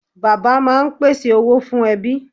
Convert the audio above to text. Bàbá máa ń pèsè owó fún ẹbí.